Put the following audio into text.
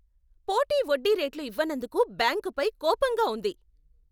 పోటీ వడ్డీ రేట్లు ఇవ్వనందుకు బ్యాంకుపై కోపంగా ఉంది.